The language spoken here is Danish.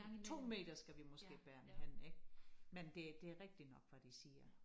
2 meter skal vi måske bære den hen ik men det det rigtig nok hvad de siger